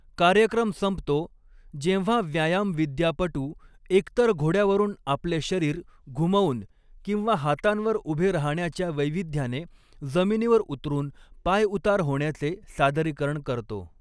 कार्यक्रम संपतो, जेव्हा व्यायामविद्यापटू एकतर घोड्यावरून आपले शरीर घुमवून किंवा हातांवर उभे राहण्याच्या वैविध्याने जमिनीवर उतरून पायउतार होण्याचे सादरीकरण करतो.